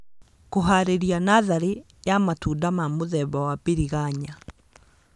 kũharĩria natharĩ ya matunda ma mũthemba wa biriganya